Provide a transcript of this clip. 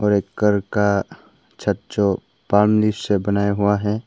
ये घर का छत जो पन्नी से बनाया हुआ है।